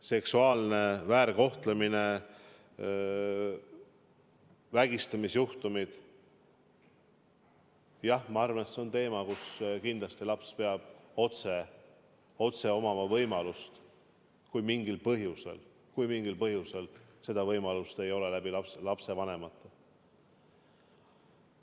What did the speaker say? Seksuaalne väärkohtlemine, vägistamisjuhtumid – jah, ma arvan, et need on juhtumid, kus kindlasti laps peab otse abi saama, kui mingil põhjusel seda võimalust lapsevanemate osalusel pole.